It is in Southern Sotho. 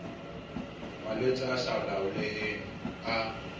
malwetse a sa laoleheng a